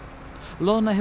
loðna hefur